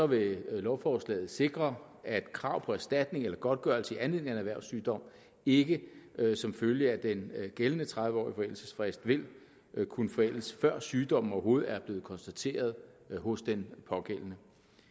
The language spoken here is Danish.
vil lovforslaget sikre at krav på erstatning eller godtgørelse i anledning af en erhvervssygdom ikke som følge af den gældende tredive årige forældelsesfrist vil kunne forældes før sygdommen overhovedet er blevet konstateret hos den pågældende